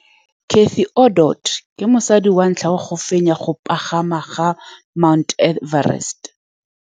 Cathy Odowd ke mosadi wa ntlha wa go fenya go pagama ga Mt Everest.